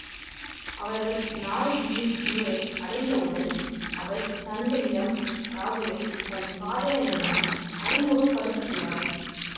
அவர்கள் நாயகியின் ஊரை அடைந்தவுடன் அவள் தந்தையிடம் ராகுலை தன் காதலன் என அறிமுகப்படுத்துகிறாள்